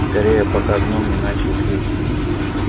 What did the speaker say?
скорее пока гном не начал петь